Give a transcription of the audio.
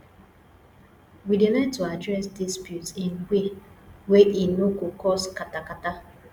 we dey learn to address disputes in way wey e no go cause katakata